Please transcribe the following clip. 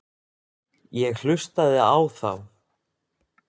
Ég hlustaði á þá.